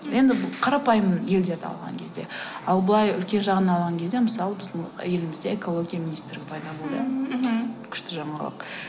енді қарапайым елдерді алған кезде ал былай үлкен жағын алған кезде мысалы біздің елімізде экология министрі пайда болды мхм күшті жаңалық